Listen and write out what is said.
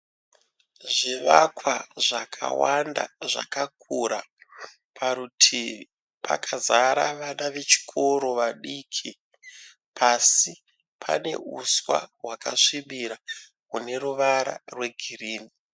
Zvivakwa zvakawanda zvakakura. Parutivi pakazara vana vechikoro vadiki. Pasi pane uswa hwakasvibira rune ruvara rwegirini.